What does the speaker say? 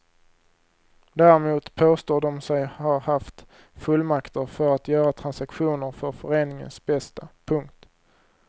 Däremot påstår de sig ha haft fullmakter för att göra transaktioner för föreningens bästa. punkt